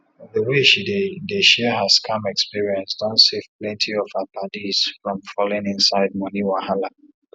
the way she dey dey share her scam experience don save plenty of her paddies from falling inside money wahala